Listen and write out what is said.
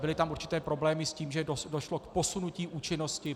Byly tam určité problémy s tím, že došlo k posunutí účinnosti.